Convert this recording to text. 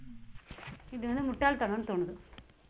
இது வந்து முட்டாள்தனம்ன்னு தோணுது